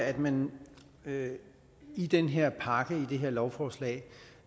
at man i den her pakke i det her lovforslag